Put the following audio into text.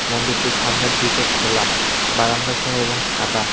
মন্দিরটির সামনের দিকে খোলা বারান্দাসহ এবং সাদা।